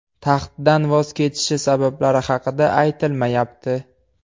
Taxtdan voz kechishi sabablari haqida aytilmayapti.